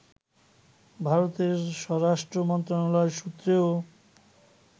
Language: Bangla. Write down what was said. ভারতের স্বরাষ্ট্র মন্ত্রণালয় সূত্রেও